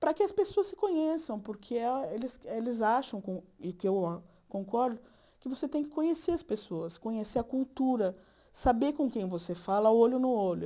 para que as pessoas se conheçam, porque elas eles eles acham, e que eu concordo, que você tem que conhecer as pessoas, conhecer a cultura, saber com quem você fala, olho no olho.